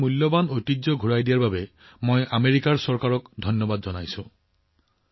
আমাৰ এই মূল্যৱান ঐতিহ্য ঘূৰাই দিয়া আমেৰিকা চৰকাৰক ধন্যবাদ জনাইছো